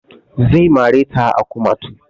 Zai mare ta a kumatu